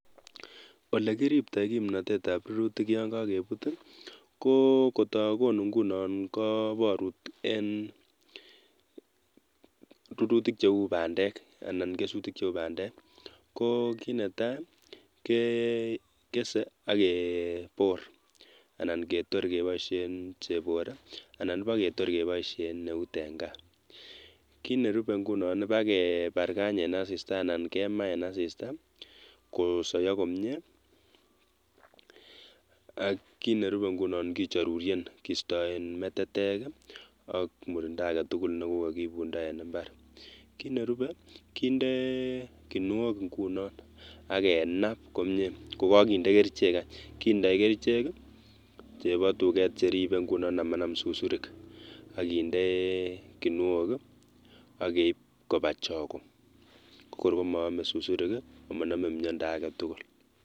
Olekiribto kimnotetab rurutik yoon kokebut i, ko kotokonu ing'unon koborut en rurutik cheuu bandek anan kesutik cheuu bandek ko kinetaa kekesee akebor ana ketor keboishen chebore anan iboketor keboishen eut en kaa, kiit nerube ing'unon ibakibarkany en asista anan kemaa en asista, ak kiit nerube ing'unon kinchoruryen kistoen metetek ak murindo aketukul nekokokiibundo en imbar, kiit nerube kindee kinuok ing'unon akenab komiee kokokindee kerichek aany, kindoi kerichek chebotuket cheribee ng'unon amanam susurik akindee kinuok, akeib kobaa chokoo, ko kor komoome susurik amonome miondo aketukul.